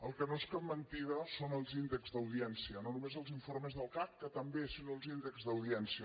el que no és cap mentida són els índexs d’audiència no només els informes del cac que també sinó els índexs d’audiència